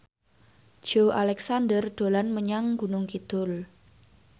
Joey Alexander dolan menyang Gunung Kidul